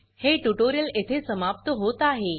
हे ट्यूटोरियल येथे समाप्त होत आहे